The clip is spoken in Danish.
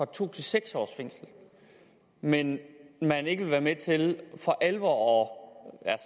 to til seks års fængsel men at man ikke vil være med til for alvor